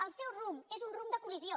el seu rumb és un rumb de col·lisió